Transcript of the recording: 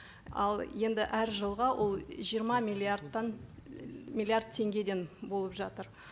ал енді әр жылға ол жиырма миллиардтан миллиард теңгеден болып жатыр